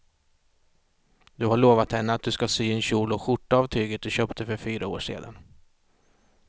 Du har lovat henne att du ska sy en kjol och skjorta av tyget du köpte för fyra år sedan.